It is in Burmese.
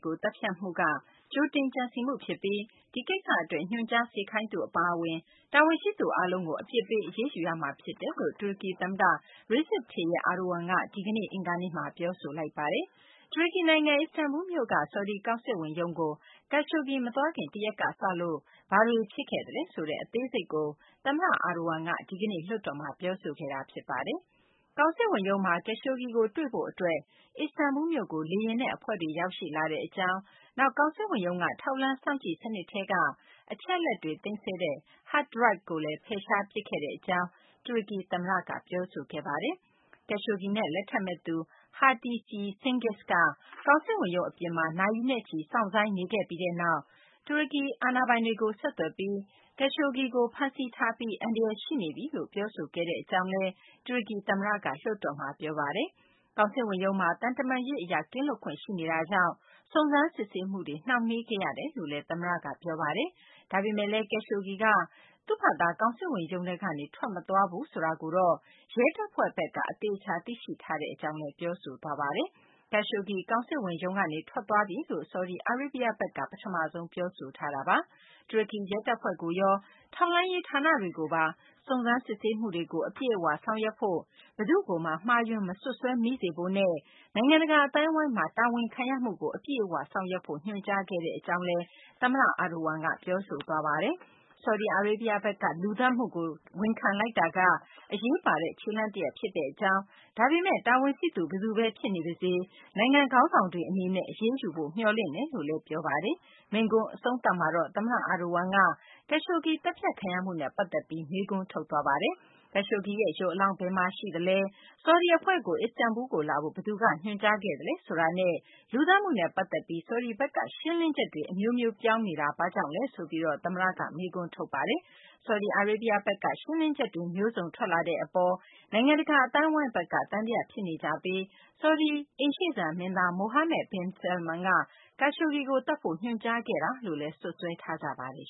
ကို သတ်ဖြတ်မှုက ကြိုတင်ကြံစည်မှု ဖြစ်ပြီး ဒီကိစ္စ အတွက် ညွှန်ကြား စေခိုင်းသူ အပါအဝင် တာဝန်ရှိသူ အားလုံးကို အပြစ်ပေး အရေးယူရမှာ ဖြစ်တယ်လို့ တူရကီ သမ္မတ Recep Tayyip Erdogan က ဒီကနေ့ အင်္ဂါနေ့မှာ ပြောဆိုလိုက်ပါတယ်။ တူရကီ နိုင်ငံ အစ္စတန်ဘူးလ်မြို့က ဆော်ဒီ ကောင်စစ်ဝန်ရုံးကို Khashoggi မသွားခင် တရက်ကစလို့ ဘာတွေ ဖြစ်ခဲ့သလဲ ဆိုတဲ့ အသေးစိတ်ကို သမ္မတ Erdogan က ဒီကနေ့ လွှတ်တော်မှာ ပြောဆိုခဲ့တာ ဖြစ်ပါတယ်။ ကောင်စစ်ဝန်ရုံးမှာ Khashoggi ကို တွေ့ဖို့ အတွက် အစ္စတန်ဘူးလ်မြို့ကို လေယာဉ်နဲ့ အဖွဲ့တွေ ရောက်ရှိလာကြကြောင်း၊ နောက် ကောင်စစ်ဝန်ရုံးက ထောက်လှမ်းစောင့်ကြည့် စနစ်ထဲက အချက်အလက်တွေ သိမ်းဆည်းတဲ့ Hard Drive ကိုလည်း ဖယ်ရှားပစ်ခဲ့ကြောင်း တူရကီ သမ္မတက ပြောဆိုခဲ့ပါတယ်။ Khashoggi နဲ့ လက်ထပ်မယ့်သူ Hatice Cengiz က ကောင်စစ်ဝန်ရုံး အပြင်မှာ နာရီနဲ့ချီ စောင့်ဆိုင်းနေခဲ့ပြီးနောက်မှာ တူရကီ အာဏာပိုင်တွေကို ဆက်သွယ်ပြီး Khashoggi ကို ဖမ်းဆီးထားပြီး အန္တရာယ် ရှိနေပြီလို့ ပြောဆိုခဲ့တယ်လို့လည်း တူရကီ သမ္မတ Erdogan က လွှတ်တော်မှာ ပြောဆိုသွားပါတယ်။ ကောင်စစ်ဝန်ရုံးမှာက သံတမန်ရေး အရ ကင်းလွတ်ခွင့်ရှိနေတာကြောင့် စုံစမ်းစစ်ဆေးမှုတွေ နှောင့်နှေးခဲ့ရကြောင်း သမ္မတက ပြောဆိုသွားပါတယ်။ ဒါပေမယ့်လည်း Khashoggi က သူ့ဘာသာ ကောင်စစ်ဝန်ရုံးကနေ ထွက်မသွားဘူးဆိုတာကို ရဲတပ်ဖွဲ့ဘက်က အသေအချာ သိရှိထားကြောင်း တူရကီ သမ္မတက ပြောဆိုခဲ့ပါတယ်။ Khashoggi ကောင်စစ်ဝန်ရုံးကနေ ထွက်သွားပြီလို့ ဆော်ဒီအာရေးဗျဘက်က ပထမဆုံး ပြောဆိုခဲ့တာပါ။ တူရကီ ရဲတပ်ဖွဲ့ကိုရော ထောက်လှမ်းရေး ဌာနတွေကိုပါ စုံစမ်းစစ်ဆေးမှုကို အပြည့်အ၀ ဆောင်ရွက်ဖို့၊ ဘယ်သူ့ကိုမှ မှားယွင်း မစွပ်စွဲမိစေဖို့နဲ့ နိုင်ငံတကာ အသိုင်းအဝိုင်းမှာ တာဝန်ခံရမှုကို အပြည့်အ၀ ဆောင်ရွက်ဖို့ ညွှန်ကြားခဲ့ကြောင်းလည်း တူရကီ သမ္မတက ပြောဆိုပါတယ်။ ဆော်ဒီအာရေးဗျဘက်က လူသတ်မှုကို ဝန်ခံလိုက်တာက အရေးပါတဲ့ ခြေလှမ်းတရပ် ဖြစ်ကြောင်း၊ ဒါပေမယ့် တာဝန်ရှိသူ ဘယ်သူဘဲ ဖြစ်နေပါစေ နိုင်ငံ ခေါင်းဆောင်တွေက အရေးယူဖို့ မျှော်လင့်ကြောင်းလည်း သမ္မတ Erdogan က ပြောဆိုသွားပါတယ်။ မိန့်ခွန်း အဆုံးသတ်မှာတော့ သမ္မတ Erdogan က Khashoggi သတ်ဖြတ်ခံရမှုနဲ့ ပတ်သက်ပြီး မေးခွန်းထုတ်သွားပါတယ်။ Khashoggi ရဲ့ ရုပ်အလောင်း ဘယ်မှာရှိသလဲ၊ ဆော်ဒီ အဖွဲ့ကို အစ္စတန်ဘူးလ်းကို လာဖို့ ဘယ်သူက ညွှန်ကြားခဲ့သလဲ ဆိုတာနဲ့ လူသတ်မှုနဲ့ ပတ်သက်ပြီး ဆော်ဒီဘက်က့ ရှင်းလင်းချက်တွေ အမျိုးမျိုး ပေးနေတာက ဘာကြောင့်လဲ ဆိုပြီး တူရကီ သမ္မတက မေးခွန်းထုတ်သွားပါတယ်။ ဆော်ဒီအာရေးဗျ ဘက်က ရှင်းလင်းချက်တွေ မျိုးစုံထွက်လာတဲ့ အပေါ် နိုင်ငံတကာ အသိုင်းအဝိုင်းဘက်က သံသယ ဖြစ်နေကြပြီး ဆော်ဒီအာရေးဗျ အိမ်ရှေ့စံ မင်းသား Mohammed bin Salman က Khashoggi ကို သတ်ဖို့ ညွှန်ကြားခဲ့တာလို့ စွပ်စွဲထားကြပါတယ်